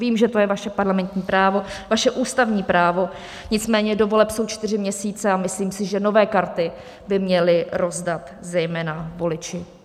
Vím, že to je vaše parlamentní právo, vaše ústavní právo, nicméně do voleb jsou čtyři měsíce a myslím si, že nové karty by měli rozdat zejména voliči.